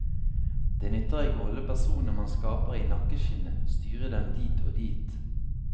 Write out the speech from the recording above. Det nytter ikke å holde personene man skaper, i nakkeskinnet, styre dem dit og dit.